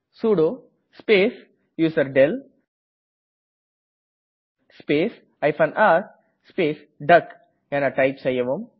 sudo space userdel space r space டக் என type செய்யவும்